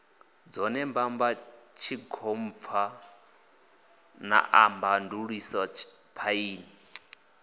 dzone mbamba tshigompfana baḓamandiusetshe phaini